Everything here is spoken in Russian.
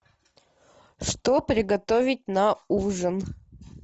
что приготовить на ужин